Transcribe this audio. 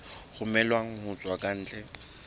romellwang ho tswa ka ntle